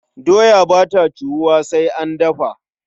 Doya ba ta ciwuwa sai an dafa.